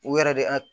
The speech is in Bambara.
U yɛrɛ de a